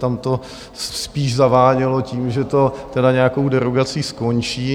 Tam to spíš zavánělo tím, že to nějakou derogací skončí.